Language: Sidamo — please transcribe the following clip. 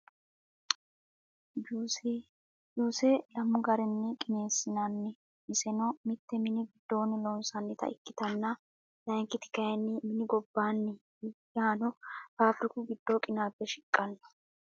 Juuse, juuse lamu garini qineesinnanni iseno mite mini gidonni loonsanitta ikkitanna layinkiti kayinni mini gobanni yaano fabiriku gido qinaabe shiqanno